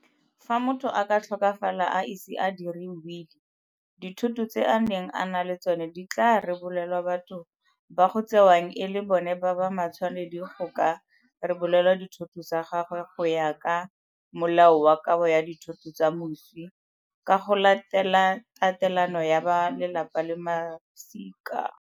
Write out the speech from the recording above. Fa motho a ka tlhokafala a ise a diri wili, dithoto tse a neng a na le tsona di tla rebolelwa batho ba go tsewang e le bona ba ba matshwanedi go ka rebolelwa dithoto tsa gagwe go ya ka Molao wa Kabo ya Ditho tsa Moswi ka go Latela Tatelano ya ba Lelapa le Masika.